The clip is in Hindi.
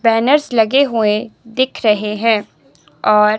बैनर्स लगे हुए दिख रहे हैं और--